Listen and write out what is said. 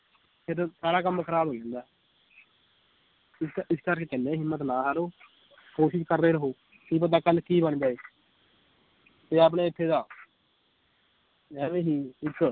ਸਾਰਾ ਕੰਮ ਖਰਾਬ ਹੋਈ ਜਾਂਦਾ ਇਕ ਇਸ ਕਰਕੇ ਕਹਿੰਨੇ ਏ ਹਿੰਮਤ ਨਾ ਹਾਰੋ ਕੋਸ਼ਿਸ਼ ਕਰਦੇ ਰਹੋ ਕੀ ਪਤਾ ਕੱਲ ਕੀ ਬਣ ਜਾਏ ਤੇ ਆਪਣੇ ਇਥੇ ਦਾ ਐਵੇਂ ਹੀ ਇੱਕ